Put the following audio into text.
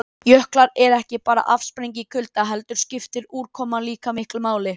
Oftast er andarnefjan grásvört eða dökkbrún að ofanverðu en ljósari að neðanverðu.